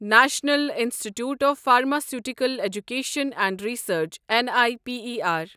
national institute of pharmaceutical education and research N I P E R